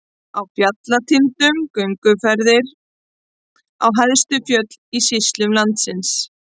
Á fjallatindum- gönguferðir á hæstu fjöll í sýslum landsins.